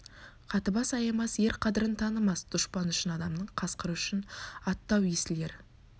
қатыбас аямас ер қадірін танымас дүшпаны үшін адамның қасқыры үшін атты-ау есіл ер